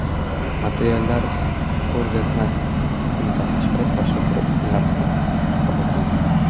Materiallar ko‘rgazma kunidan tashqari, boshqa kunlarda ham qabul qilinadi.